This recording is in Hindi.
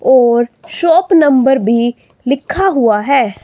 और शॉप नंबर भी लिखा हुआ है।